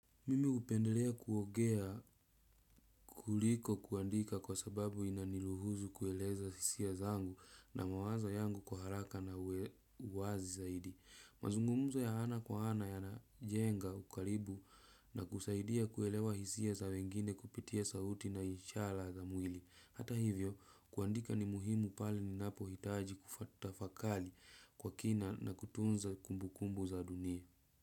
Mimi hupendelea kuogea kuliko kuandika kwa sababu inaniruhusu kueleza hisia zangu na mawazo yangu kwa haraka na uwazi zaidi. Mazungumzo ya ana kwa ana yanajenga ukaribu na kusaidia kuelewa hisia za wengine kupitia sauti na ishala za mwili. Hata hivyo, kuandika ni muhimu pale ninapohitaji kutafakali kwa kina na kutunza kumbukumbu za dunia.